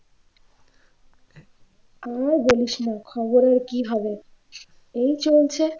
আর বলিসনা খবর আর কি হবে এই চলছে